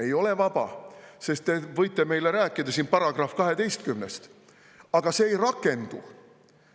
Ei ole vaba, sest te võite meile siin rääkida §-st 12, aga see ei rakendu.